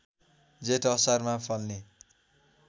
जेठ असारमा फल्ने